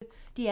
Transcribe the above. DR P1